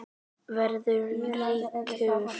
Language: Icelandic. Verða ríkur.